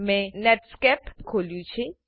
મેં નેટસ્કેપ ખોલ્યું છે